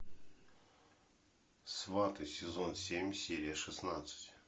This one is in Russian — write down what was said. сваты сезон семь серия шестнадцать